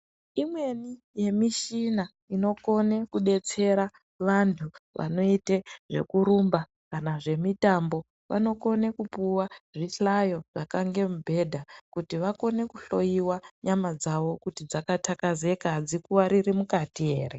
Imweni yemushina inokone detsera vantu vanoite zvekurumba kana zvemutambo vanokone piwa zvihlayo zvakange mubhedha kuti vakone hloiwa nyama dzavo dzakatakazeka kuti adzikuwariri mukati ere.